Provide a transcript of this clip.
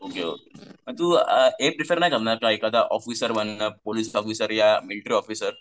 Okay okay मग तू अ हे प्रेफर नाही करणार काय एखादं ऑफिसर बनणं पोलीस ऑफिसर या मिलिटरी ऑफिसर?